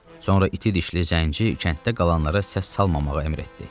Sonra iti dişli zənci kənddə qalanlara səs salmamağı əmr etdi.